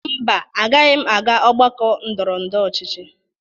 Mba, agaghị m aga ọgbakọ ndọrọndọrọ ọchịchị.